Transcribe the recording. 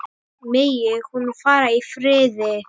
Megi hún fara í friði.